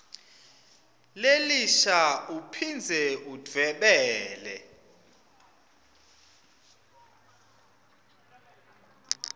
lelisha uphindze udvwebele